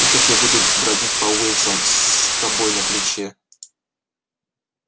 и как я буду бродить по улицам с тобой на плече